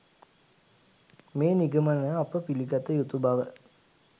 මේ නිගමන අප පිළිගත යුතු බව